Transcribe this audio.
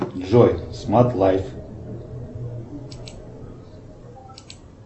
джой смарт лайф